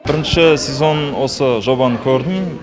бірінші сезонын осы жобаның көрдім